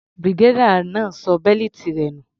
Brigadier náà ṣọ bẹ́lìtì rẹ̀ nù.